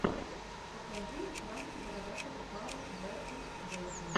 покажи пранки бородатого пара бэрдэд вэйпо